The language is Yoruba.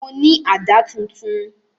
Mo ní àdá tuntun